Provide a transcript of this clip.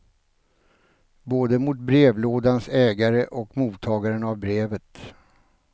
Både mot brevlådans ägare och mottagaren av brevet.